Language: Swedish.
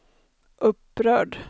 upprörd